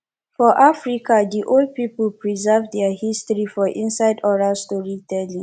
for africa di old pipo preserve their history for inside oral story telling